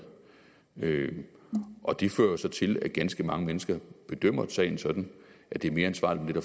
valget og det fører så til at ganske mange mennesker bedømmer sagen sådan at det er mere ansvarligt